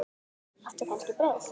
Áttu kannski brauð?